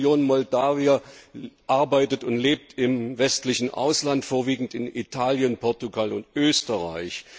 1 Million Moldawier arbeitet und lebt im westlichen Ausland, vorwiegend in Italien, Portugal und Österreich.